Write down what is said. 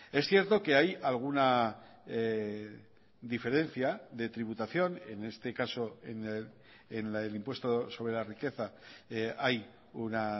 es cierto que hay alguna diferencia de tributación en este caso en la del impuesto sobre la riqueza hay una